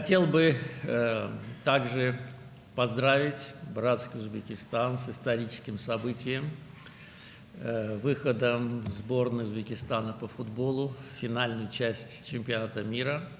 Qardaş Özbəkistanı futbol üzrə Özbəkistan yığmasının Dünya Çempionatının final hissəsinə çıxması kimi tarixi hadisə münasibətilə təbrik etmək istərdim.